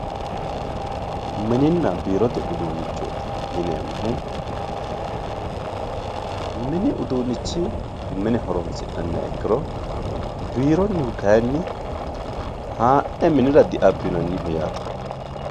mininna biiriote uduunnichooti yineemmohu mini uduunnichi mine horoonsi'nanniha ikkiro biironnihu kayinni ha'ne minira diabbinanniho yaate